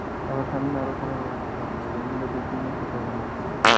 আবার সামনে আরো খারাপ অবস্থা হবে রোহিঙ্গা দের জন্য কোঠা বানাচ্ছে